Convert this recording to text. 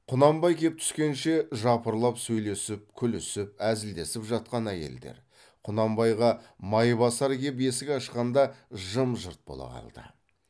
құнанбай кеп түскенше жапырлап сөйлеп күлісіп әзілдесіп жатқан әйелдер құнанбайға майбасар кеп есік ашқанда жым жырт бола қалды